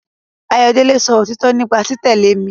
Ayọ̀délé sọ òtítọ nípa títẹ̀lé mi